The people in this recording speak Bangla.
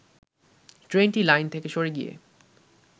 ট্রেনটি লাইন থেকে সরে গিয়ে